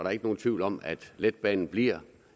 er ikke nogen tvivl om at letbanen bliver